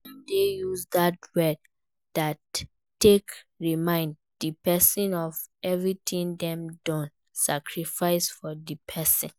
Dem de use that word take remind di persin of every thing dem don sacrifice for di persin